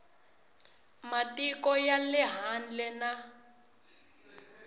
matiko ya le handle na